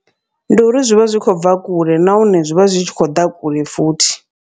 Ndi uri zwivha zwi khou bva kule, nahone zwi tshi khou ḓa kule futhi.